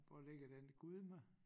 Hvor ligger den Gudme?